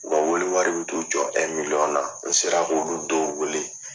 U ka welewari bɛ t'i jɔ na n sera k'olu dɔw wele